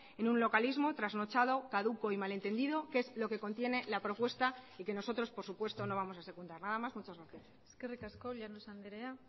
en un localismo trasnochado caduco y malentendido que es lo que contiene la propuesta y que nosotros por supuesto no vamos a secundar nada más muchas gracias eskerrik asko llanos andrea